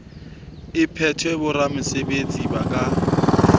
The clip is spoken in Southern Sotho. e phethwe boramesebetsi ba ka